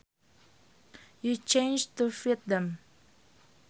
you change to fit them